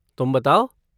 तुम बताओ?